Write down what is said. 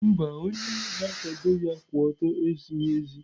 Mba, onye na-akwado ya kwụ ọtọ ezighi ezi.